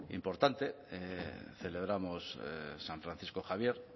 importante celebramos san francisco javier